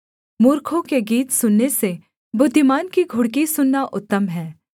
मूर्खों के गीत सुनने से बुद्धिमान की घुड़की सुनना उत्तम है